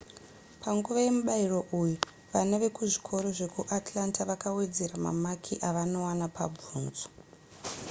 panguva yemubayiro uyu vana vekuzvikoro zvekuatlanta vakawedzera mamaki avanowana pabvunzo